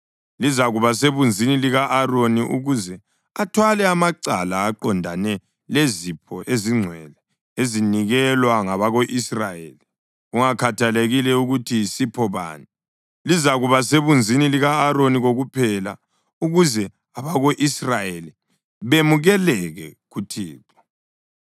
Lizakuba sebunzini lika-Aroni ukuze athwale amacala aqondene lezipho ezingcwele ezinikelwa ngabako-Israyeli, kungakhathalekile ukuthi yisipho bani. Lizakuba sebunzini lika-Aroni kokuphela ukuze abako-Israyeli bemukeleke kuThixo.